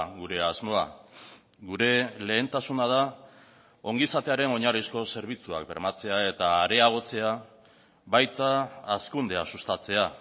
gure asmoa gure lehentasuna da ongizatearen oinarrizko zerbitzuak bermatzea eta areagotzea baita hazkundea sustatzea